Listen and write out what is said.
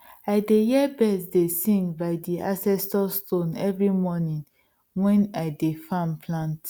i dey hear bird dey sing by di ancestor stone every morning wen i de farm plant